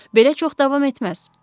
Belə çox davam etməz.